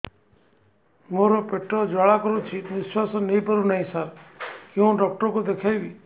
ମୋର ପେଟ ଜ୍ୱାଳା କରୁଛି ନିଶ୍ୱାସ ନେଇ ପାରୁନାହିଁ ସାର କେଉଁ ଡକ୍ଟର କୁ ଦେଖାଇବି